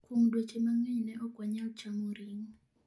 Kuom dweche mang'eny ne okwanyal chamo ring'o.